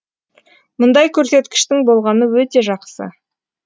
мұндай көрсеткіштің болғаны өте жақсы